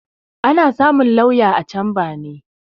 Ana samun lauya a camba ne